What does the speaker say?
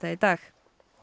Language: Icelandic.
í dag